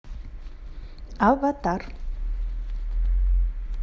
аватар